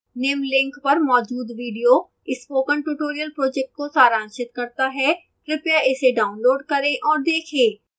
निम्नलिखित link पर मौजूद video spoken tutorial project को सारांशित करता है कृपया इसे डाउनलोड करें और देखें